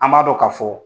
An b'a dɔn ka fɔ